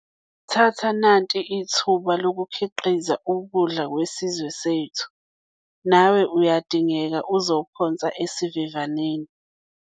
Thatha nanti ithuba lokukhiqiza ukudla kwesizwe sethu - nawe uyadingeka uzophonsa esivivaneni.